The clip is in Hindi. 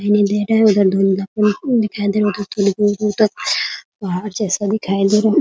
उधर धूम धाम दिखाई दे रहा है उधर थोड़ी दूर-दूर तक पहाड़ जैसा दिखाई दे रहा है ।